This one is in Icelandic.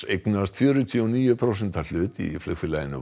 eignast fjörutíu og níu prósenta hlut í flugfélaginu